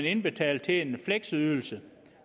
indbetale til en fleksydelse